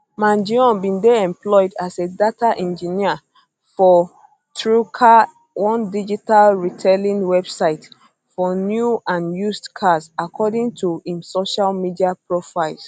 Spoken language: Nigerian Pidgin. mangione bin dey employed as a data engineer for truecar one digital retailing website for new and used cars according to im social media profiles